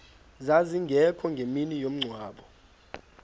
zazingekho ngemini yomngcwabo